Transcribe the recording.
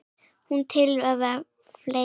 Sú tillaga var felld.